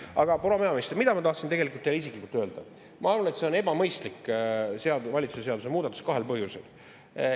Aga, proua peaminister, mida ma tahtsin tegelikult teile isiklikult öelda: ma arvan, et see on ebamõistlik valitsuse seaduse muudatus kahel põhjusel.